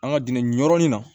An ka dingɛ nin yɔrɔnin na